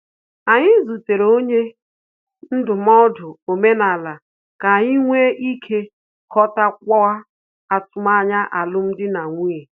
Anyị zutere onye ndụmọdụ omenala ka anyị nwe ike ghọtakwuo atụmanya alum dị na nwunye